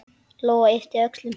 Lóa yppti öxlum.